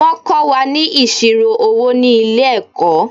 Wọ́n kó wa ni ìṣirò owó ni ilẹ̀-ẹ̀kọ́.